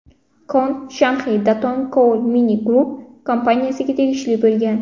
Kon Shanxi Datong Coal Mine Group kompaniyasiga tegishli bo‘lgan.